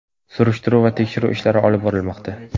Surishtiruv va tekshiruv ishlari olib borilmoqda.